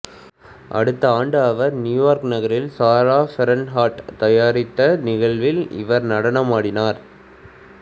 அடுத்த ஆண்டு அவர் நியூயார்க் நகரில் சாரா பெர்ன்ஹார்ட் தயாரித்த நிகழ்வில் இவர் நடனமாடினார்